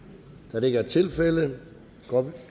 da det ikke er tilfældet går